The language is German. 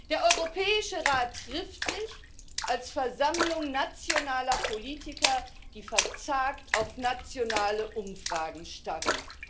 Der Europäische Rat trifft sich als Versammlung nationaler Politiker, die verzagt auf nationale Umfragen starren.